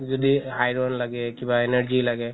যদি iron লাগে বা কিবা energy লাগে